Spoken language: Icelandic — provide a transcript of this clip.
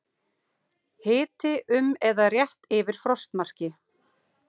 Hiti um eða rétt yfir frostmarki